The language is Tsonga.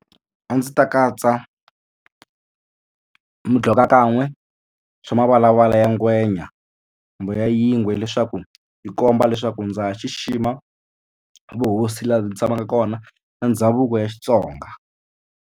A ndzi ta katsa midlokakan'we swa mavalavala ya ngwenya kumbe ya yingwe leswaku yi komba leswaku ndza ha xixima vuhosi laha ndzi tshamaka kona na ndhavuko ya Xitsonga.